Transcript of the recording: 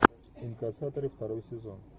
инкассаторы второй сезон